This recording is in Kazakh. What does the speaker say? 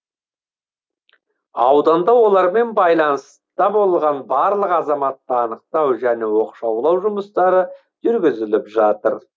ауданда олармен байланыста болған барлық азаматты анықтау және оқшаулау жұмыстары жүргізіліп жатыр